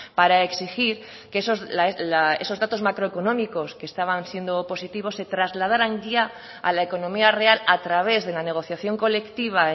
para exigir que esos datos macroeconómicos que estaban siendo positivos se trasladaran ya a la economía real a través de la negociación colectiva